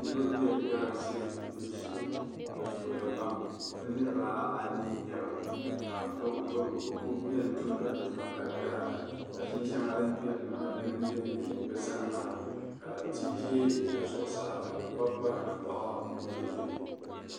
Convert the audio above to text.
Niriba be galamsee gbubu shee bɛ zooya pam bɛ niribaa anii n-nye ba ka bɛ bɛ bɛ kuli beni tumdi di tuma ka yaara mashin shɛŋa din gbiri li maa dini m-be be bɛ sani maa ka m tihi ʒe bɛ sani maa ka bɛ kɔri kɔri tankpaɣu n-duhi duhi.